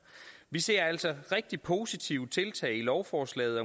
vi ser altså rigtig positive tiltag i lovforslaget